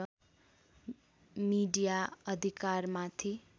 media अधिकारमाथि